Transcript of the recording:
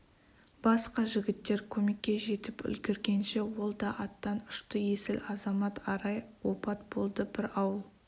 басқа жігіттер көмекке жетіп үлгергенше ол да аттан ұшты есіл азамат арай опат болды бір ауыл